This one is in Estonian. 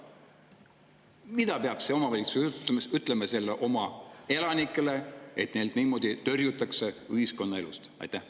Mida peaks see omavalitsusjuht ütlema oma elanikele, et neid niimoodi tõrjutakse ühiskonnaelust?